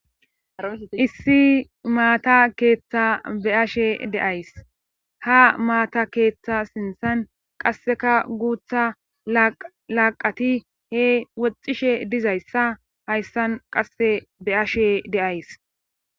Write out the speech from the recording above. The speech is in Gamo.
Issi maata keeththa be ashe deays ha maata keeththa sinthan qasseka guutha laaqati he woxishe dizayssa hayssan qasse be7ashe deays.